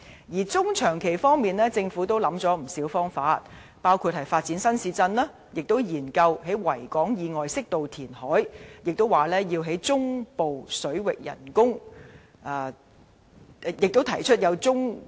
在中長期方面，政府也想出不少方法，包括發展新市鎮，以及研究在維港以外適度填海，提出中部水域人工島項目。